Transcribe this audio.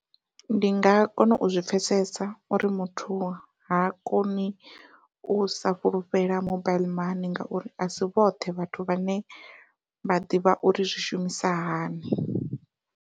Ndi nga kona u zwi pfhesesa uri muthu ha koni usa fhulufhela mobile mani ngauri asi vhoṱhe vhathu vhane vha ḓivha uri zwi shumisa hani.